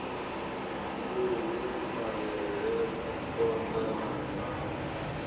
nduhu mavhele phonḓa na ṋawa